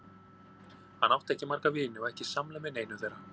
Hann átti ekki marga vini og ekki samleið með neinum þeirra.